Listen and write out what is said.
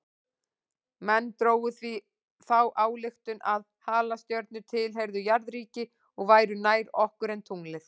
Menn drógu því þá ályktun að halastjörnur tilheyrðu jarðríki og væru nær okkur en tunglið.